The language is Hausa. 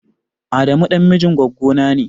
Adamu ɗan mijin gwaggona ne.